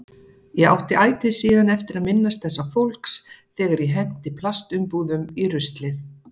Ég átti ætíð síðan eftir að minnast þessa fólks þegar ég henti plastumbúðum í ruslið.